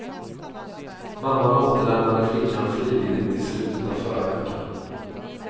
Mamman återlämnade flickan frivilligt i slutet av förra veckan.